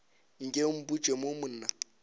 nke o mpotše mo na